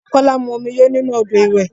Kola mu omi yóò nínú ọ́dọ̀ ìwẹ̀.